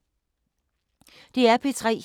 DR P3